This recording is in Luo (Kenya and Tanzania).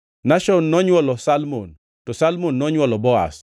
Nashon nonywolo Salmon, to Salmon nonywolo Boaz,